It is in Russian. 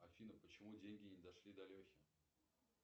афина почему деньги не дошли до лехи